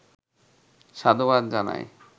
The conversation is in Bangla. সাধুবাদ জানাই।